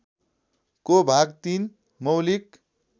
को भाग ३ मौलिक